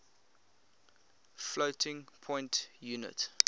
floating point unit